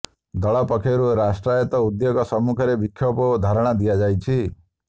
ଦଳ ପକ୍ଷରୁ ରାଷ୍ଟ୍ରାୟତ୍ତ ଉଦ୍ୟୋଗ ସମ୍ମୁଖରେ ବିକ୍ଷୋଭ ଓ ଧାରଣା ଦିଆଯାଇଛି